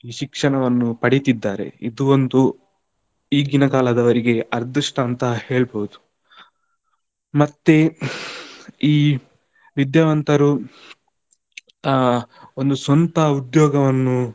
ಶಿಕ್ಷಣವನ್ನು ಪಡಿತಿದ್ದಾರೆ ಇದು ಒಂದು ಈಗಿನ ಕಾಲದವರೆಗೆ ಅದೃಷ್ಟ ಅಂತ ಹೇಳ್ಬಹುದು, ಮತ್ತೆ ಈ ವಿದ್ಯಾವಂತರು ಅಹ್ ಒಂದು ಸ್ವಂತ ಉದ್ಯೋಗವನ್ನು.